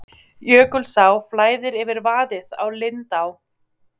Jökulsá flæðir yfir vaðið á Lindaá